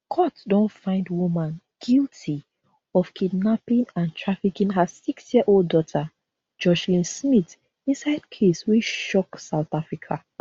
court don find woman guilty of kidnapping and trafficking her sixyearold daughter joshlin smith inside case wey shock south africa